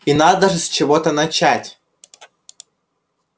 и надо же с чего-то начать